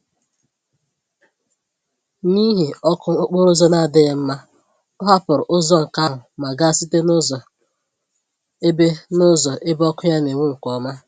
N'ihi ọkụ okporo ụzọ na-adịghị mma, ọ hapụrụ ụzọ nke ahụ ma gaa site nụzọ ebe nụzọ ebe ọkụ ya n'enwu nke ọma.